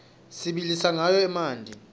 sibilisa rqawo emanti